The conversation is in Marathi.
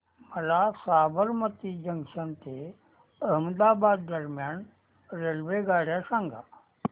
मला साबरमती जंक्शन ते अहमदाबाद दरम्यान रेल्वेगाड्या सांगा